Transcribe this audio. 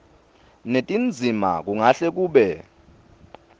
netindzima kungahle kube